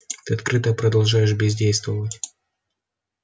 ты открыто продолжаешь бездействовать